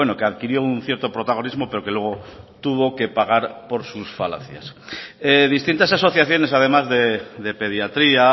que adquirió un cierto protagonismo pero que luego tuvo que pagar por sus falacias distintas asociaciones además de pediatría